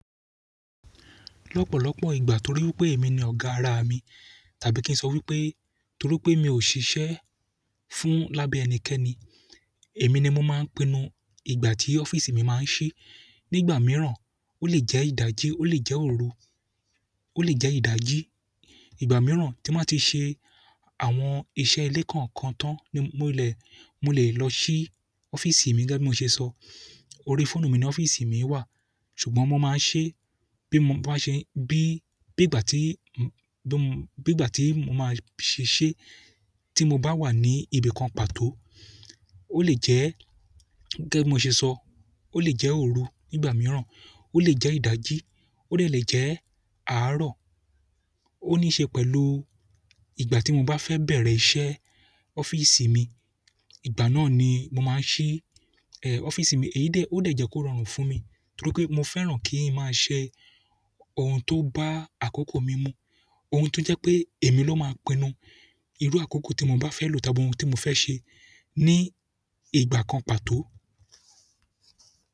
Lọ́pọ̀lọ́pọ̀ ìgbà torí wípé èmi ni ọ̀gá ara mi, tàbí kí n sọ wípé torí pé mi ò ṣiṣẹ́ fún lábẹ́ ẹnikẹ́ni, èmi ni mo máa ń pinnu ìgbà tí ọ́fíìsì mi máa ń ṣí. Nígbà miran, o le jẹ idaki, o le jẹ oru. Ole jẹ idaji. Ìgbà míràn tín bá ti ṣe àwọn iṣẹ́ ilé kan kan tán ni mó lè, mo lè lọ ṣí ọ́fíìsì mi gẹ́gẹ́ bí mo ṣe sọ. Orí fóònù mi ni ọ́fíìsì mi wà, ṣùgbọ́n mo máa ń ṣe bí mo bá ṣe, bí, bí ìgbà tí, bí mo, bí ìgbà tí mo máa ṣe ṣé tí mo bá wà ní ibìkan pàtó. Ó lè jẹ́ gẹ́gẹ́ bí mo ṣe sọ, ó lè jẹ́ òru nígbà míràn, ó lè jẹ́ ìdájí, ó dẹ lè lè jẹ́ àárọ̀. Ó ní í ṣe pẹ̀lú ìgbà tí mo bá fẹ́ bẹ̀rẹ̀ iṣẹ́ ọ́fíìsì mi, ìgbà náà ni mo máa ń ṣí, ẹ, ọ́fíìsì mi. Èyí dé, ó dẹ jẹ́ kó rọrùn fún mi, torí pé mo fẹ́ràn kí ń máa ṣẹ́ ohun tó bá àkókò mi mu. Ohun tó jẹ́ pé èmi ló máa ń pinnu irú àkókò tí mo bá fẹ́ lò tàbí ohun tí mo fẹ́ ṣe ní ìgbà kan pàtó.